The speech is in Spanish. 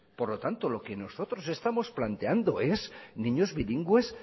por lo tanto lo que nosotros estamos planteando es niños bilingües